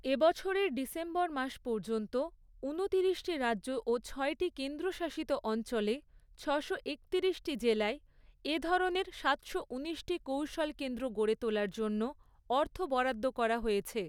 এ বছরের ডিসেম্বর মাস পর্যন্ত, উনতিরিশটি রাজ্য ও ছয়টি কেন্দ্রশাসিত অঞ্চলে, ছশোএকতিরিশটি জেলায়, এ ধরণের সাতশোঊনিশটি কৌশল কেন্দ্র গড়ে তোলার জন্য, অর্থ বরাদ্দ করা হয়েছে।